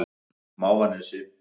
Mávanesi